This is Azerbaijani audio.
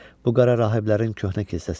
Bu qara rahiblərin köhnə kilsəsidir.